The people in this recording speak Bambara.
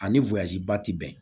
Ani ba ti bɛn